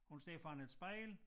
Hun står foran et spejl